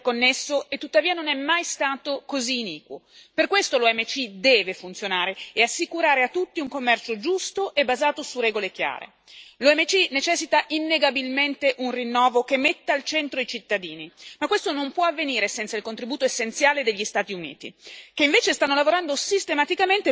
Per questo l'OMC deve funzionare e assicurare a tutti un commercio giusto e basato su regole chiare. L'OMC necessita innegabilmente un rinnovo che metta al centro i cittadini, ma questo non può avvenire senza il contributo essenziale degli Stati Uniti, che invece stanno lavorando sistematicamente per indebolirlo o asservirlo ai loro interessi di parte.